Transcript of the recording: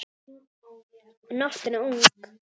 Og nóttin ung.